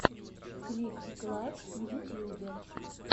клик клак в ютьюбе